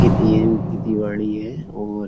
खेती बाड़ी है और --